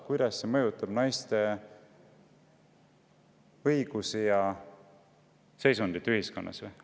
Kuidas see mõjutab naiste õigusi ja seisundit ühiskonnas?